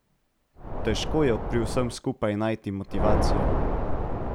Težko je pri vsem skupaj najti motivacijo.